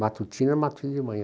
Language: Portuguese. Matutino de manhã.